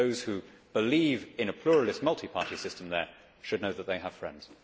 Those who believe in a pluralist multi party system there should know that they have friends.